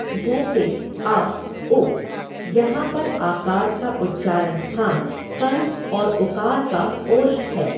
जैसे आ उ, यहाँ पर आकार का उच्चारणस्थान कण्ठ और उकार का ओष्ठ है।